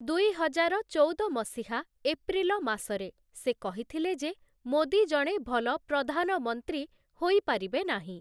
ଦୁଇହଜାର ଚଉଦ ମସିହା, ଏପ୍ରିଲ ମାସରେ ସେ କହିଥିଲେ ଯେ ମୋଦୀ ଜଣେ ଭଲ ପ୍ରଧାନମନ୍ତ୍ରୀ ହୋଇପାରିବେ ନାହିଁ ।